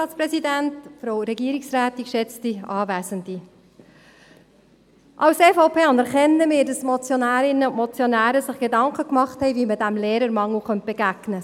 Als EVP anerkennen wir, dass sich die Motionärinnen und Motionäre Gedanken gemacht haben, wie man dem Lehrermangel begegnen könnte.